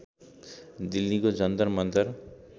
दिल्लीको जन्तर मन्तर